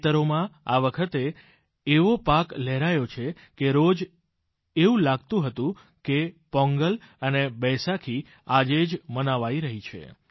ખેતરોમાં આ વખતે એવો પાક લહેરાયો છે કે રોજ એવું લાગતું હતું કે પોંગલ અને બૈસાખી આજે જ મનાવાઈ છે